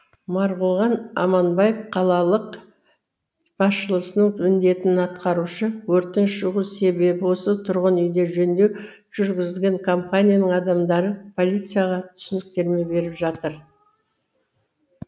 марғұлан аманбаев қалалық басшылысының міндетін атқарушы өрттің шығу себебі осы тұрғын үйде жөндеу жүргізген компанияның адамдары полицияға түсініктеме беріп жатыр